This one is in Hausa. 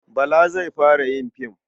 Bala zai fara yin fim.